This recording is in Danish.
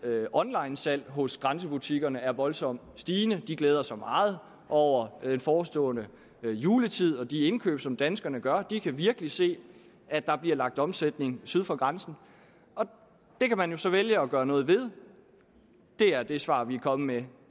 af onlinesalg hos grænsebutikkerne er voldsomt stigende de glæder sig meget over den forestående juletid og de indkøb som danskerne gør de kan virkelig se at der bliver lagt omsætning syd for grænsen det kan man jo så vælge at gøre noget ved det er det svar vi er kommet med